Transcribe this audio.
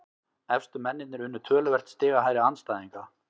Efstu mennirnir unnu töluvert stigahærri andstæðinga